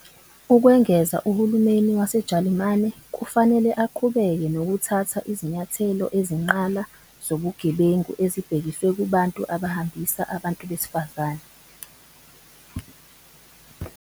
Ukwengeza, uhulumeni waseJalimane kufanele aqhubeke nokuthatha izinyathelo ezinqala zobugebengu ezibhekiswe kubantu abahambisa abantu besifazane.